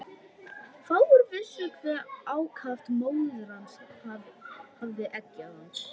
Fáir vissu hve ákaft móðir hans hafði eggjað hann.